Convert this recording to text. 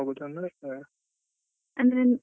ಅಂದ್ರೆ ಈಗ ನಾವ್ ಹೋಗುದಂದ್ರೆ ಅಹ್